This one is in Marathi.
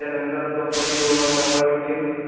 त्याच्यानंतर जॉबसाठी दोन महिने अपॉइंटमेंट केलं.